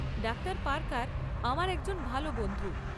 Doctor Parker আমার একজন ভাল বন্ধু।